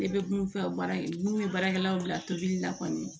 Ne bɛ mun f'a ye baara in n'u ye baarakɛlaw bila tobili la kɔni